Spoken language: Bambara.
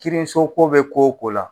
Kiiriso ko bɛ ko o ko la